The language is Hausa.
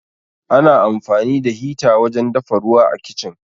Ana amfani da hita wajen dafa ruwa a Kicin.